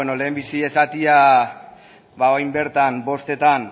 lehenbizi esatea orain bertan bostetan